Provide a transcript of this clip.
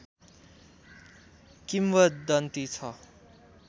किम्वदन्ती छ